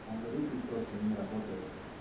алгоритм просто не работает